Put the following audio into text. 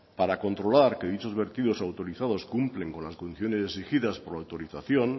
para controlar que dichos vertidos autorizados cumplen con las condiciones exigidas por la autorización